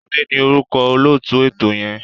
Túndé ni orúkọ olóòtú ètò yẹn.